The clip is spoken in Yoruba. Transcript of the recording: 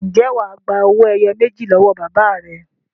Ǹjẹ́ wà á gba owó ẹyọ méjì lọ́wọ́ bàbá rẹ?